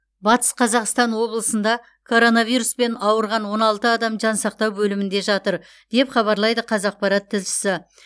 батыс қазақстан облысында коронавируспен ауырған он алты адам жансақтау бөлімінде жатыр деп хабарлайды қазақпарат тілшісі